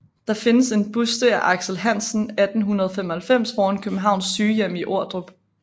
Der findes en buste af Aksel Hansen 1895 foran Københavns Sygehjem i Ordrup